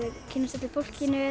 kynnist öllu fólkinu